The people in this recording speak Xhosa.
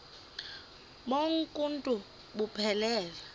bonk uuntu buphelele